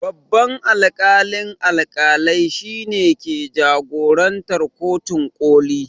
Babban alƙalin alƙalai shine ke jagorantar kotun ƙoli